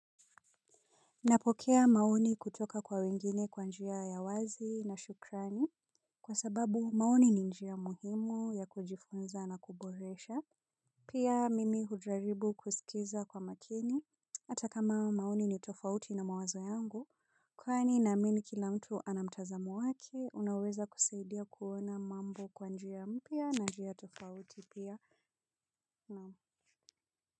Napokea maoni kutoka kwa wengine kwa njia ya wazi na shukrani. Kwa sababu maoni ni njia muhimu ya kujifunza na kuboresha. Pia mimi hujaribu kusikiliza kwa makini. Hata kama maoni ni tofauti na mawazo yangu. Kwani naamini kila mtu ana mtazamo wake, unaweza kusaidia kuona mambo kwa njia mpya na njia tofauti pia na.